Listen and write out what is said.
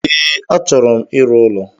E, achọro m ịrụ ụlọ